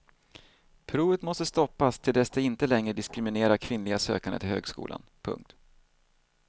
Provet måste stoppas till dess det inte längre diskriminerar kvinnliga sökande till högskolan. punkt